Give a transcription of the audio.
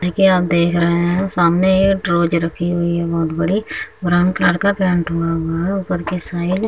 जी के आप देख रहे हैं सामने एक ड्राज रखी हुई है बोहत बड़ी ब्राउन कलर का पेंट हुआ हुआ है ऊपर की साइड ।